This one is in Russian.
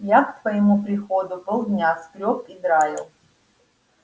я к твоему приходу полдня скрёб и драил